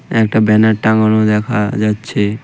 একটা ব্যানার টাঙানো দেখা যাচ্ছে.